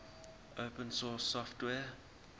open source software